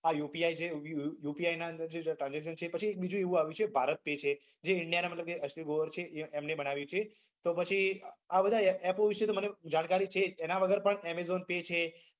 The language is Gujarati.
આ UPI છે એ UPI ના અંદર થી તમે tarnsaction છે બધું પછી બીજું એવું આવ્યું છે ભારત pay છે જે india ના મતલબ કે અશ્લીર ગ્રોવર છે એમને બન્વાયું છે તો પછી આ બધા app વિષે તો મને જાણકારી છે એના વગર પણ amazon pay છે